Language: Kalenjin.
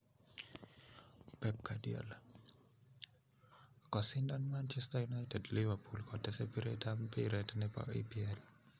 Pep Guardiola: kosindan manchester united liverpool kotese piret ap mbiret nepo epl.